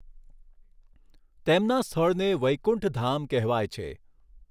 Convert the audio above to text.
તેમના સ્થળને વૈકુંઠધામ કહેવાય છે.